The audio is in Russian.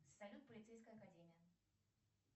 салют полицейская академия